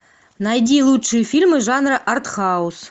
найди лучшие фильмы жанра артхаус